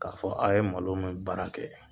Ka fɔ a ye malo min baara kɛ